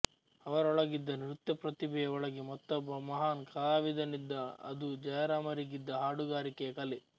ಅವರೊಳಗಿದ್ದ ನೃತ್ಯ ಪ್ರತಿಭೆಯ ಒಳಗೆ ಮತ್ತೊಬ್ಬ ಮಹಾನ್ ಕಲಾವಿದನಿದ್ದ್ದ ಅದು ಜಯರಾಮರಿಗಿದ್ದ ಹಾಡುಗಾರಿಕೆಯ ಕಲೆ